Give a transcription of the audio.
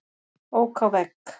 Ók á vegg